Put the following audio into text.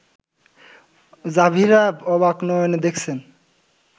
জাভিরা অবাক নয়নে দেখেছেন